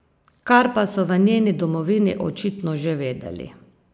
Kar pa so v njeni domovini očitno že vedeli.